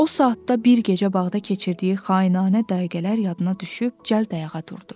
O saatda bir gecə bağda keçirdiyi xainanə dəqiqələr yadına düşüb cəld ayağa durdu.